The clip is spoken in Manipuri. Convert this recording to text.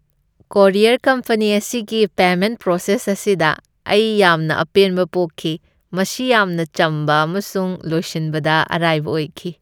ꯀꯣꯔꯤꯌꯔ ꯀꯝꯄꯅꯤ ꯑꯁꯤꯒꯤ ꯄꯦꯃꯦꯟꯠ ꯄ꯭ꯔꯣꯁꯦꯁ ꯑꯁꯤꯗ ꯑꯩ ꯌꯥꯝꯅ ꯑꯄꯦꯟꯕ ꯄꯣꯛꯈꯤ꯫ ꯃꯁꯤ ꯌꯥꯝꯅ ꯆꯝꯕ ꯑꯃꯁꯨꯡ ꯂꯣꯏꯁꯤꯟꯕꯗ ꯑꯔꯥꯏꯕ ꯑꯣꯏꯈꯤ ꯫